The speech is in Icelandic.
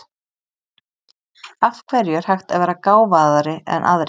Af hverju er hægt að vera gáfaðri en aðrir?